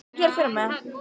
Við erum vel stemmdir.